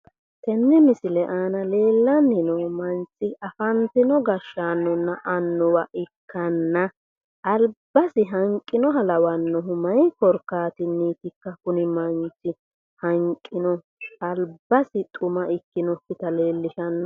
Tenne misile aana leellanni noo manchi afantinonna gashshaanonna annuwa lawanno manchi albasi hanqinoha lawannohu mayi korkaatinniitikka kuni manchi hanqino albasi xuma ikkinokkita leellishanno